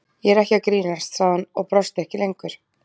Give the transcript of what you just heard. Ég er ekki að grínast, sagði hún og brosti ekki lengur.